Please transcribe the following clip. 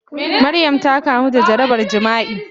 Maryam ta kamu da jarabar jima'i.